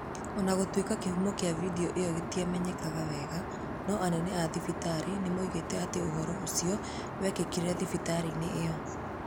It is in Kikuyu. O na gũtuĩka kĩhumo kĩa vidio ĩyo gĩtiamenyekete wega, no anene a thibitarĩ nĩ moigĩte atĩ ũhoro ũcio wekĩkire thibitarĩ-inĩ ĩyo.